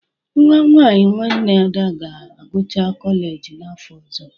Nwa nwaanyị nwanne Ada ga-agụcha kọleji n'afọ ọzọ.